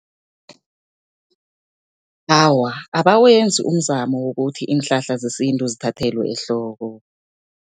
Awa, abawenzi umzamo wokuthi iinhlahla zesintu zithathelwe ehloko.